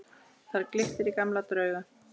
Þar glittir í gamla drauga.